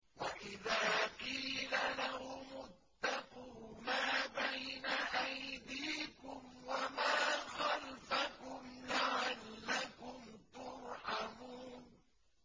وَإِذَا قِيلَ لَهُمُ اتَّقُوا مَا بَيْنَ أَيْدِيكُمْ وَمَا خَلْفَكُمْ لَعَلَّكُمْ تُرْحَمُونَ